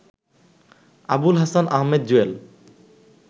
Abul Hasan Ahmed Jewel